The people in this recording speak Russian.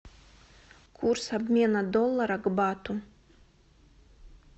курс обмена доллара к бату